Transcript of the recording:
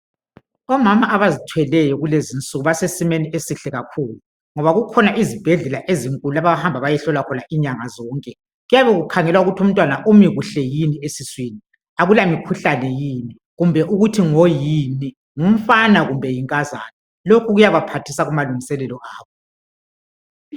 Omama abazithweleyo kulezinsuku basesimeni esihle kakhulu ngoba kukhona izibhedlela ezinkulu abahamba beyehlolwa khona inyanga zonke kuyabe kukhangelwa ukuthi umntwana umi kuhle yini esiswini akula mikhuhlane yini kumbe ukuthi ngoyini ngumfana kumbe yinkazana lokhu kuyabaphathisa kumalungiselelo abo.